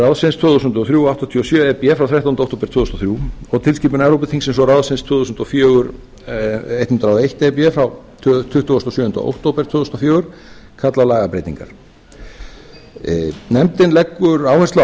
tvö þúsund og þrjú áttatíu og sjö e b frá þrettánda október tvö þúsund og þrjú og tilskipun evrópuþingsins og ráðsins tvö þúsund og fjögur hundrað og eitt e b frá tuttugasta og sjöunda október tvö þúsund og fjögur kalla á lagabreytingar nefndin leggur áherslu á